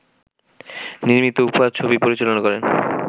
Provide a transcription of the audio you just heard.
নির্মিত ‘উপহার’ ছবি পরিচালনা করেন